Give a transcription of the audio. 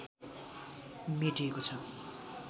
मेटिएको छ